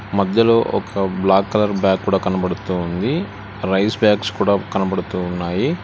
మధ్యలో ఒక black colour bag కూడా కనబడుతూ ఉంది రైస్ బ్యాగ్స్ కూడా కనబడుతూ ఉన్నాయి.